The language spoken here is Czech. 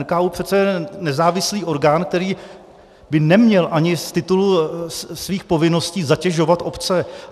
NKÚ je přece nezávislý orgán, který by neměl ani z titulu svých povinností zatěžovat obce.